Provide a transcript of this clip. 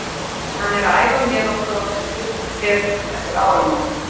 Hann er að æfa með okkur á fullu og fer út eftir áramótin.